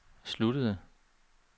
sluttede